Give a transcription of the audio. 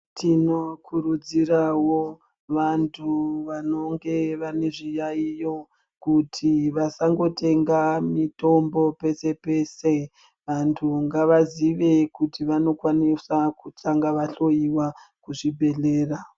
Tinokurudzirawo vantu vanenge vane zviyayiyo kuti vasangotenga mitombo pese pese. Vantu ngavazive kuti vanokwanisa kutanga vahloiwa kuzvibhedhlera.